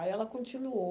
Aí ela continuou.